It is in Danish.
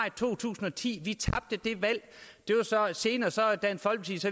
i to tusind og ti vi tabte det valg senere